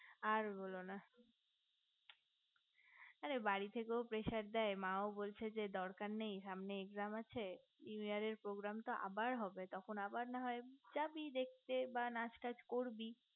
আর বোলো না অরে বাড়ি থেকেও pressure দেয় মাও বলছে দরকার নেই সামনে exam আছে new year এর program তো আবার হবে তখন আবার নাহয় জাবি দেখতে বা নাচ টাচ করবি